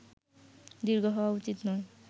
দীর্ঘ হওয়া উচিত নয়